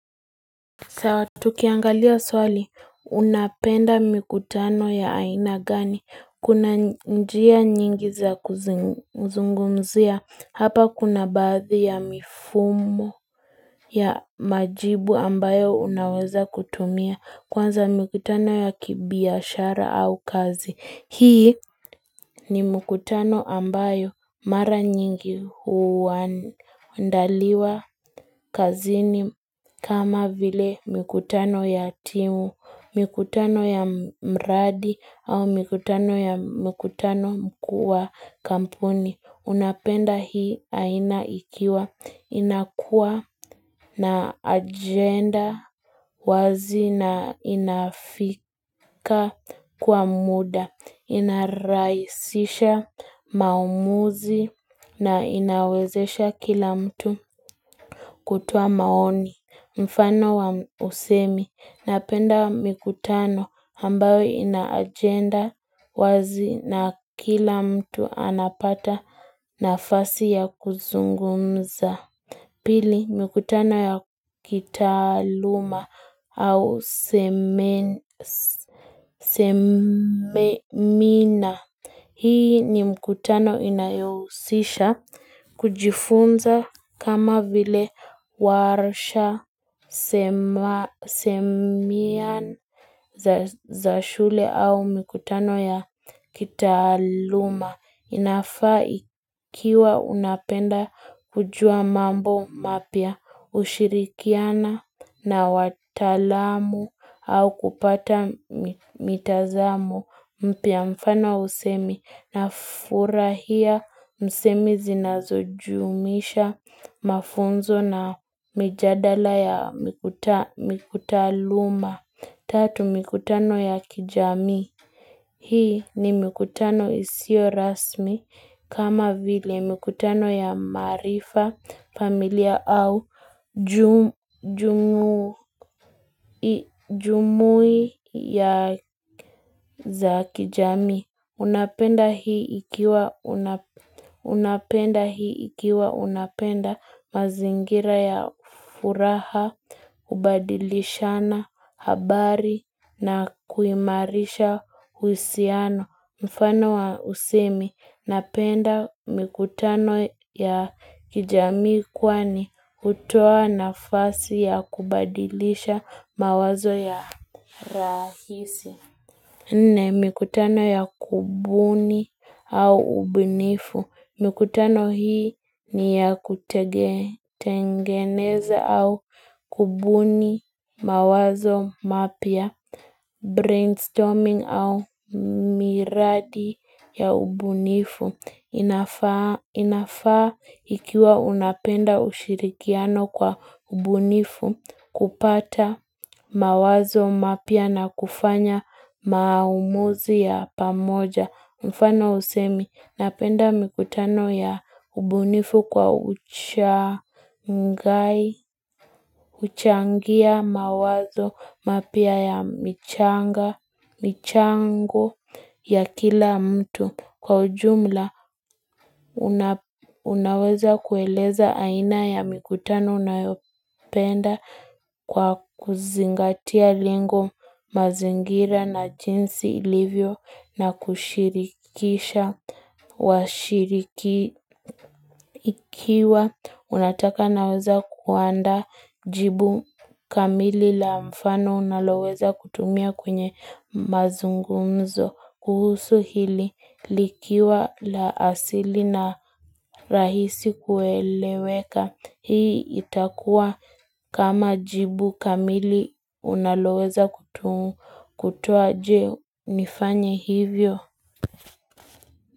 Tukiangalia swali unapenda mikutano ya aina gani kuna njia nyingi za kuzungumzia hapa kuna baadhi ya mifumo ya majibu ambayo unaweza kutumia kwanza mikutano ya kibiashara au kazi. Hii ni mkutano ambayo mara nyingi huandaliwa kazini kama vile mkutano ya timu, mikutano ya mradi au mikutano ya mkutano mkuu wa kampuni. Unapenda hii aina ikiwa inakua na agenda wazi na inafika kwa muda, inarahisisha maumuzi na inawezesha kila mtu kutoa maoni. Mfano wa usemi napenda mikutano ambayo inaajenda wazi na kila mtu anapata nafasi ya kuzungumza. Pili mkutano ya kitaaluma au semina. Hii ni mkutano inayousisha kujifunza kama vile warsha semia za shule au mkutano ya kitaaluma. Inafa ikiwa unapenda kujua mambo mapya ushirikiana na wataalamu au kupata mitazamo mpya mfano wa usemi na furahia msemi zinazujumisha mafunzo na mijadala ya mikutaaluma. Tatu mikutano ya kijamii. Hii ni mikutano isio rasmi kama vile mikutano ya maarifa, familia au jumuiya za kijamii. Unapenda hii ikiwa unapenda mazingira ya furaha, kubadilishana, habari na kuimarisha uhusiano. Mfano wa usemi, napenda mikutano ya kijamii kwani hutoa nafasi ya kubadilisha mawazo ya rahisi. Nne mikutano ya kubuni au ubunifu. Mikutano hii ni ya kutengeneza au kubuni mawazo mapya. Brainstorming au miradi ya ubunifu inafaa ikiwa unapenda ushirikiano kwa ubunifu kupata mawazo mapya na kufanya maamuzi ya pamoja Mfano usemi napenda mikutano ya ubunifu kwa uchangia mawazo mapya ya michanga, michango ya kila mtu Kwa ujumla unaweza kueleza aina ya mikutano unayopenda Kwa kuzingatia lengo mazingira na jinsi ilivyo na kushirikisha washirikiwa unataka naweza kuandaa jibu kamili la mfano unaloweza kutumia kwenye mazungumzo kuhusu hili likiwa la asili na rahisi kueleweka. Hii itakua kama jibu kamili unaloweza kutuwa je nifanye hivyo.